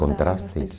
Contrastes?